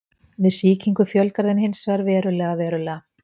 Við sýkingu fjölgar þeim hins vegar verulega verulega.